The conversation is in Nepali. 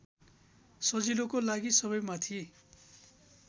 सजिलोको लागि सबैमाथि